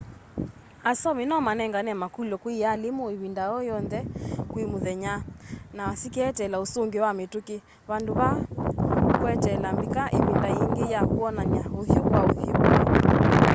asomi no manengane maukulyo kwi aalimu ivinda o yonthe kwi muthenya na sikeeteela usungio wa mituki vandu va kweteela mbika ivinda yingi ya kwonana uthyu-kwa-uthyu